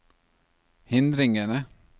hindringene